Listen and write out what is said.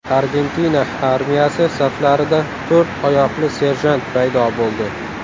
Argentina armiyasi saflarida to‘rt oyoqli serjant paydo bo‘ldi.